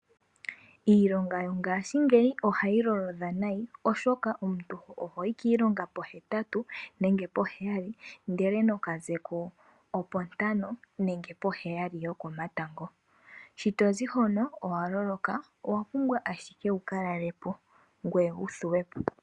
Iilonga yongashingeyi ohayi lolodha nayi omuntu ohoyi kiilonga pohetatu nenge poheyali ndele noka zeko opo ntano nenge po heyali yo komatango. Shi tozi hono owa loloka, owa pumbwa ashike wuka lalepo ngweye wu thuwe po.